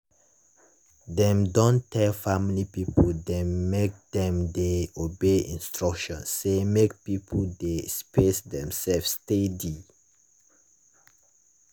dem don tell family people dem make dem dey obey instruction say make people dey space demsef steady.